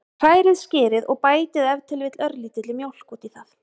Hrærið skyrið og bætið ef til vill örlítilli mjólk út í það.